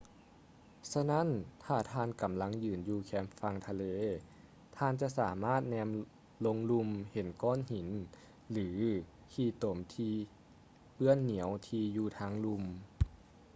ສະນັ້ນ ຖ້າທ່ານກຳລັງຢືນຢູ່ແຄມຝັ່ງທະເລ ທ່ານຈະສາມາດແນມລົງລຸ່ມເຫັນກ້ອນຫີນ ຫຼື ຂີ້ຕົມທີ່ເປື້ອນໜຽວທີ່ຢູ່ທາງລຸ່ມ